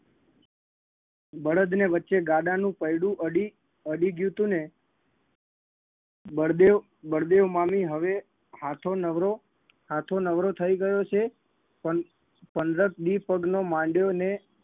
બળદને વચ્ચે ગાડાનું પૈડું અડી અડી ગ્યું તું ને બળદેવ બળદેવ મામી હવે હાથો નવરો હાથો નવરો થઈ ગયો છે પંદ પંદર દી પગનો માંડ્યો ને